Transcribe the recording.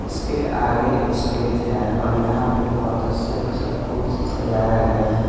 इसके आगे स्टेज है और यहां पर बहुत अच्छे-अच्छे फूल से सजाया गया है।